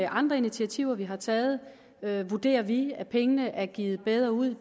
andre initiativer vi har taget taget vurderer vi at pengene er givet bedre ud